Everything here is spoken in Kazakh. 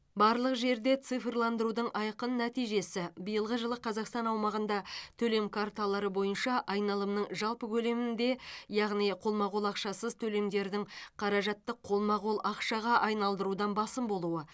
барлық жерде цифрландырудың айқын нәтижесі биылғы жылы қазақстан аумағында төлем карталары бойынша айналымның жалпы көлемінде яғни қолма қол ақшасыз төлемдердің қаражатты қолма қол ақшаға айналдырудан басым болуы